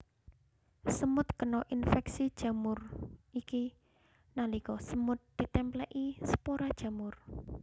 Semut kena infeksi jamur iki nalika semut ditèmplèki spora jamur